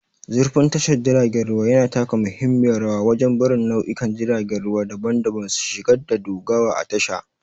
Zurfin tashar jiragen ruwa yana taka muhimmiyar rawa wajen barin nau'ikan jiragen ruwa daban-daban su shiga da dogawa a tasha